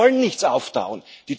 Wir wollen nichts auftauen.